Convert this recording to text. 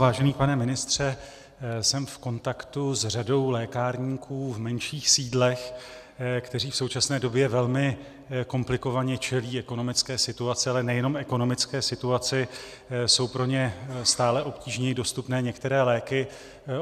Vážený pane ministře, jsem v kontaktu s řadou lékárníků v menších sídlech, kteří v současné době velmi komplikovaně čelí ekonomické situaci, ale nejenom ekonomické situaci, jsou pro ně stále obtížněji dostupné některé léky.